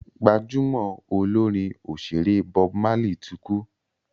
gbajúmò Olorin òṣèré Bob Marley tí kú